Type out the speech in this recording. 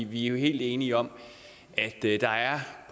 vi er jo helt enige om at der der er